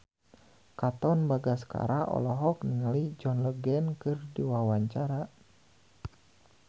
Katon Bagaskara olohok ningali John Legend keur diwawancara